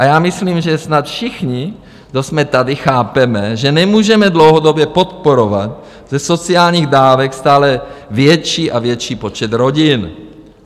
A já myslím, že snad všichni, kdo jsme tady, chápeme, že nemůžeme dlouhodobě podporovat ze sociálních dávek stále větší a větší počet rodin.